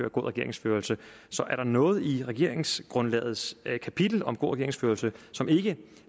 regeringsførelse så er der noget i regeringsgrundlagets kapitel om god regeringsførelse som ikke